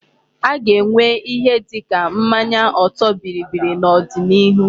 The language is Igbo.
A ga-enwe ìhè dịka mmanya ọtọ bịrịbịrị n'odinihu.